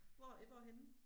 Hvor øh hvorhenne?